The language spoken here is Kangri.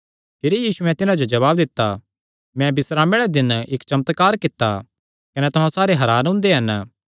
भिरी यीशुयैं तिन्हां जो जवाब दित्ता मैं बिस्रामे आल़े दिन इक्क चमत्कार कित्ता कने तुहां सारे हरान हुंदे हन